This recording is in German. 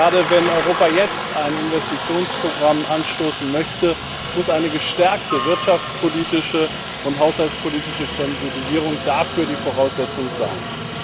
Gerade wenn Europa jetzt ein Investitionsprogramm anstoßen möchte, muss eine gestärkte wirtschaftspolitische und haushaltspolitische Konsolidierung dafür die Voraussetzung sein.